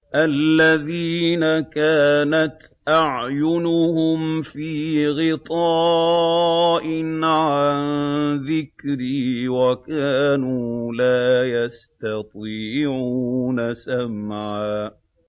الَّذِينَ كَانَتْ أَعْيُنُهُمْ فِي غِطَاءٍ عَن ذِكْرِي وَكَانُوا لَا يَسْتَطِيعُونَ سَمْعًا